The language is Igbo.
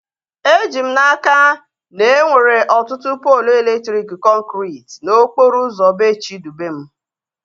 Eji m n'aka, na enwere ọtụtụ poolu elektriki kọnkriti n'okporo ụzọ bee Chidubem